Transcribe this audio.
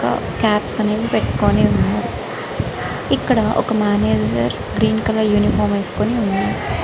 Caps అనేవి పెట్టుకొని ఉన్నారు. ఇక్కడ ఒక మేనేజర్ గ్రీన్ కలర్ యూనిఫామ్ వేసుకుని ఉన్నాడు. .>